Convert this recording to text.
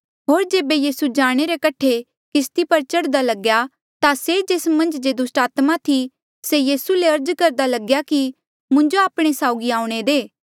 होर जेबे यीसू जाणे रे कठे किस्ती पर चढ़दा लग्या ता से जेस मन्झ जे पैहले दुस्टात्मा थी से यीसू ले अर्ज करदा लग्या कि मुंजो आपणे साउगी आऊणें दे